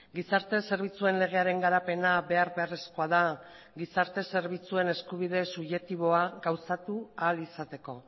gizarte zerbitzuen legearen garapena behar beharrezkoa da gizarte zerbitzuen eskubide subjektiboa gauzatu ahal izateko